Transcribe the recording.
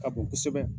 Ka bon kosɛbɛ